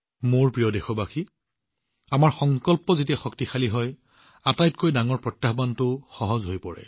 মোৰ মৰমৰ দেশবাসীসকল যেতিয়া আমাৰ সংকল্পৰ শক্তি শক্তিশালী হয় আনকি আটাইতকৈ বৃহৎ প্ৰত্যাহ্বানটোও সহজ হৈ পৰে